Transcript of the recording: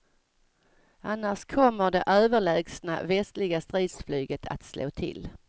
Annars kommer det överlägsna västliga stridsflyget att slå till.